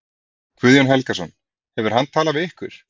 Guðjón Helgason: Hefur hann talað við ykkur?